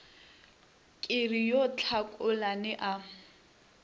ke re yo tlhakolane a